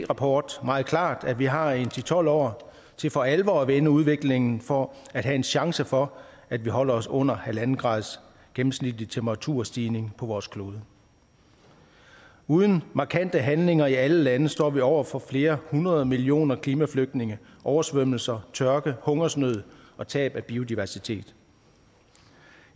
rapport meget klart at vi har en ti til tolv år til for alvor at vende udviklingen for at have en chance for at holde os under halv grads gennemsnitlig temperaturstigning på vores klode uden markante handlinger i alle lande står vi over for flere hundrede millioner klimaflygtninge oversvømmelser tørke hungersnød og tab af biodiversitet